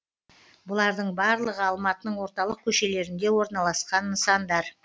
бұлардың барлығы алматының орталық көшелерінде орналасқан нысандар